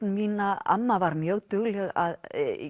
mína amma var mjög dugleg að